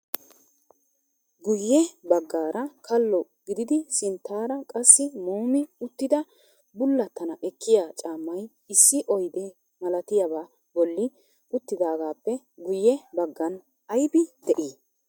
Guyye baggaara kalo gididi sinttaara qassi muumi uttida bullatana ekkiya caammay issi oyde malatiyaaba bolli uttidaagappe guyye baggan aybbi de'ii?